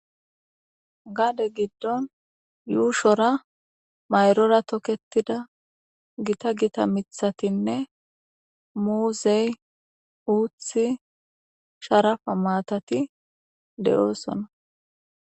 gaade giddon yuushora mayrora toketida gita gita mithatinne muuzey uuthi sharafa maatati de7oosona